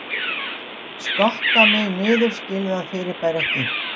Skokka mig niður skil það fyrirbæri ekki